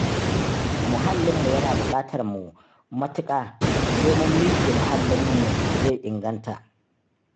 Muhallinmu yana buƙatar mu matuƙa ,sai mun miƙe muhallinmu zai inganta.